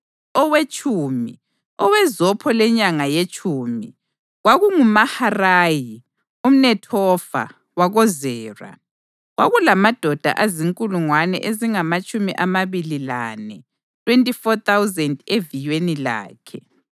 Owetshumi, owezopho lenyanga yetshumi, kwakunguMaharayi umNethofa wakoZera. Kwakulamadoda azinkulungwane ezingamatshumi amabili lane (24,000) eviyweni lakhe.